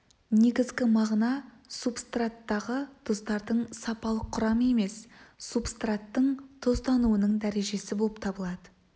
негізгі мағына субстраттағы тұздардың сапалық құрамы емес субстраттың тұздануының дәрежесі болып табылады